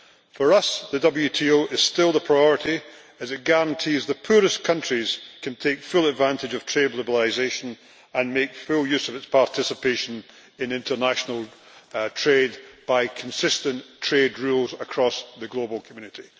For us, the WTO is still the priority as it guarantees the poorest countries can take full advantage of trade liberalisation and make full use of its participation in international trade by consistent trade rules across the global community.